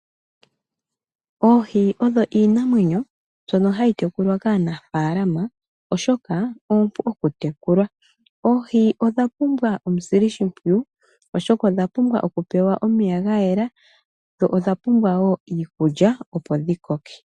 Oohi odho iinamwenyo mbono hayi tekulwa kaanafalama oshoka oompu kutekulwa. Oohi odha pumbwa omusilishimpwiyu, oshoka odha pumbwa okupewa omeya ga yela, dho odha pumbwa wo iikulya opo dhi koke.